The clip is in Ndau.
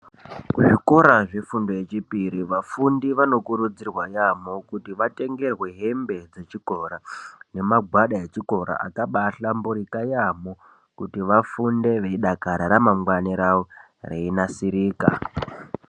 Zvikora zvefundo yechipiri vafundi vanokurudzirwa yaambo kuti vatengerwe hembe dzechikora nemagwada echikora akabaahlamburika yaamho kuti vafunde veidakara, ramangwana ravo reinasirika.